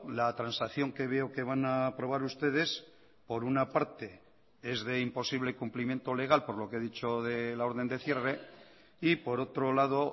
la transacción que veo que van a aprobar ustedes por una parte es de imposible cumplimiento legal por lo que he dicho de la orden de cierre y por otro lado